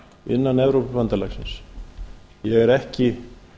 innan evrópubandalagsins ég er ekki